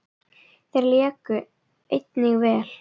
Þeir léku einnig vel.